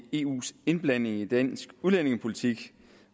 eus indblanding i dansk udlændingepolitik